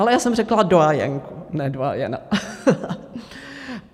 Ale já jsem řekla doyenku, ne doyena.